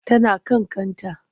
Tana kan kanta.